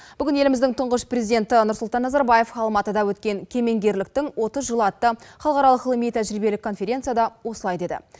бүгін еліміздің тұңғыш президенті нұрсұлтан назарбаев алматыда өткен кемеңгерліктің отыз жылы атты халықаралық ғылыми тәжірибелік конференцияда осылай деді